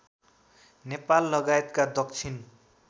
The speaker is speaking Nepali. नेपाल लगायतका दक्षिण